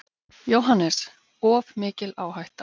JÓHANNES: Of mikil áhætta.